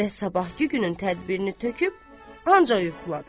Və sabahkı günün tədbirini töküb ancaq yuxuladı.